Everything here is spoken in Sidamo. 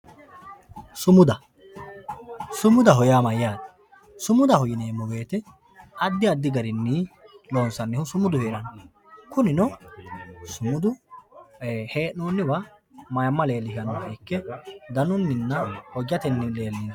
Sumuda, sumudaho yaa mayyatte, sumudaho yineemo woyite adi adi garini loonsanniho sumudaho yaa, kunino sumudu heenonniwa mayima leellishanoha ikke danuninna hojatenni leelishawo